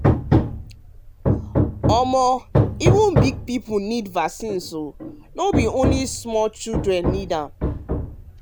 um i dey talk say even big people need vaccines as no bi only small um pikin need am. um am. um